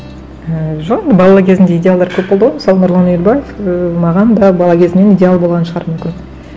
ііі жоқ бала кезінде идеалдар көп болды ғой мысалы нұрлан өнербаев ііі маған да бала кезімнен идеал болған шығар мүмкін